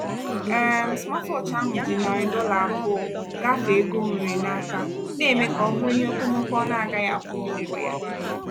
um smatwọọchị ọhụrụ ahụ ji narị dollar abụọ gafee ego o nwere n'aka na-eme ka ọ bụrụ ihe okomoko ọ na-agaghị akwụli ụgwọ ya.